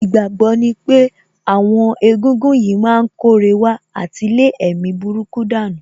Ìgbàgbọ́ ní pé àwọn egúngún yìí má ń kóre wá àti lé èmi burúkú dànù